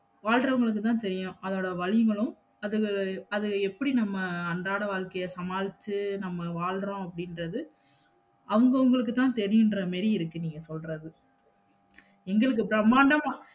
வாழ்றவுன்களுக்கு தான் தெரியும் அதோட வலிகளும் அது அத எப்படி நம்ம அன்றாட வாழ்கைய சமாளிச்சு நம்ம வாழ்றோம்னு அப்படின்றது அவுங்க அவுங்களுக்கு தான் தெரயும்ன்ற மாதிரி இருக்கு நீங்க சொல்றது இன்னும் பிரம்மாண்டமா